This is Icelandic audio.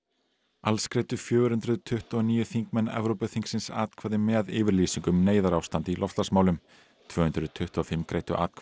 alls greiddu fjögur hundruð tuttugu og níu þingmenn Evrópuþingsins atkvæði með yfirlýsingu um neyðarástand í loftslagsmálum tvö hundruð tuttugu og fimm greiddu atkvæði